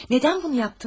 Nədən bunu yapdınız?